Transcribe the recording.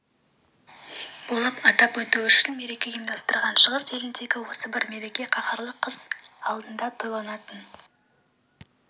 болып атап өту үшін мереке ұйымдастырған шығыс еліндегі осы бір мереке қаһарлы қыс алдында тойланатын